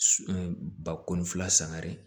ba kɔnɔ fila sangare